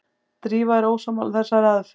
Drífa er ósammála þessari aðferð.